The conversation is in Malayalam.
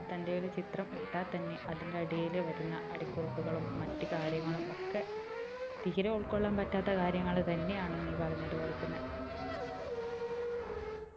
തന്റെ ഒരു ചിത്രം ഇട്ടാൽ തന്നെ അതിന്റെ അടിയിൽ വരുന്ന അടിക്കുറിപ്പുകളും മറ്റു കാര്യങ്ങളും ഒക്കെ തീരെ ഉൾകൊള്ളാൻ പറ്റാത്ത കാര്യങ്ങൾ തന്നെയാണ് നീ പറഞ്ഞത് പോലെ തന്നെ